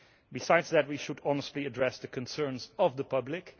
Besides that, we should honestly address the concerns of the public.